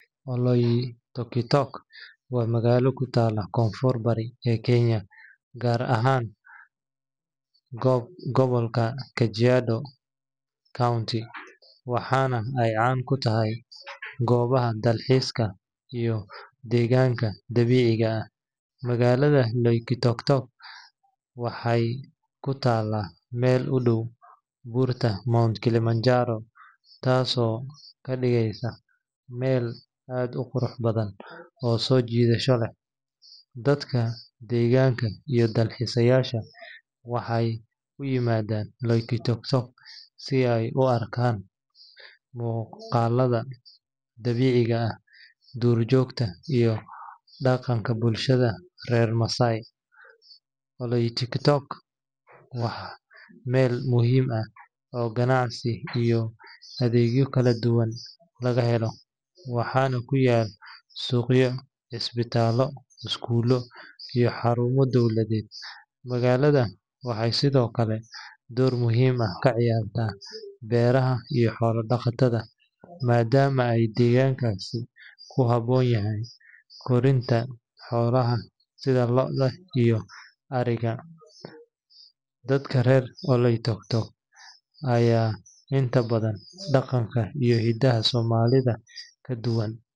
Oloitokitok waa magaalo ku taalla koonfur-bari ee Kenya, gaar ahaan gobolka Kajiado County, waxaana ay caan ku tahay goobaha dalxiiska iyo deegaanka dabiiciga ah. Magaalada Oloitokitok waxay ku taallaa meel u dhow buurta Mount Kilimanjaro, taasoo ka dhigaysa meel aad u qurux badan oo soo jiidasho leh. Dadka deegaanka iyo dalxiisayaasha waxay u yimaadaan Oloitokitok si ay u arkaan muuqaalada dabiiciga ah, duurjoogta, iyo dhaqanka bulshada reer Maasai. Oloitokitok waa meel muhiim ah oo ganacsi iyo adeegyo kala duwan laga helo, waxaana ku yaal suuqyo, isbitaallo, iskuulo, iyo xarumo dowladeed. Magaalada waxay sidoo kale door muhiim ah ka ciyaartaa beeraha iyo xoolo-dhaqatada, maadaama ay deegaankaasi ku habboon yahay korinta xoolaha sida lo’da iyo adhiga. Dadka reer Oloitokitok ayaa inta badan dhaqanka iyo hidaha Soomaalida ka duwan.